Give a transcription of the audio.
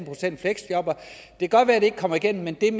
kan godt være at det ikke kommer igennem men det er